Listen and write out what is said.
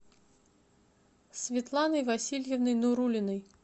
светланой васильевной нуруллиной